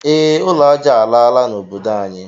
E, ụlọ aja alaala na obodo anyi